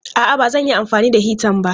A'a, ba zan yi amfani da hitan ba.